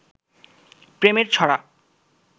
প্রেমের ছড়া